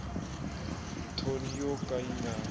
thoni yo ka yi nga